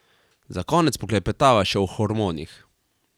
Za konec poklepetava še o hormonih.